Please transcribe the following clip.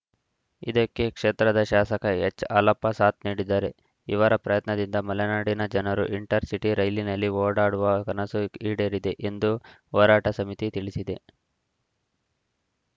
ಇದಕ್ಕೆ ಕ್ಷೇತ್ರದ ಶಾಸಕ ಎಚ್‌ಹಾಲಪ್ಪ ಸಾಥ್‌ ನೀಡಿದ್ದಾರೆ ಇವರ ಪ್ರಯತ್ನದಿಂದ ಮಲೆನಾಡಿನ ಜನರು ಇಂಟರಸಿಟಿ ರೈಲಿನಲ್ಲಿ ಓಡಾಡುವ ಕನಸು ಈಡೇರಿದೆ ಎಂದು ಹೋರಾಟ ಸಮಿತಿ ತಿಳಿಸಿದೆ